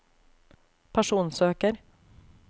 personsøker